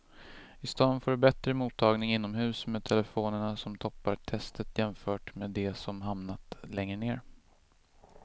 I stan får du bättre mottagning inomhus med telefonerna som toppar testet jämfört med de som hamnat längre ner.